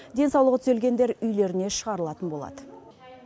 денсаулығы түзелгендер үйлеріне шығарылатын болады